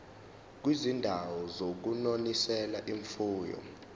kwizindawo zokunonisela imfuyo